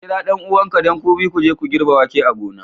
Ks kira ɗan'uwanka, don ku biyu ku je ku girbe wake a gona.